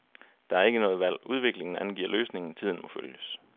Der er ikke noget valg, udviklingen angiver løsningen, tiden må følges.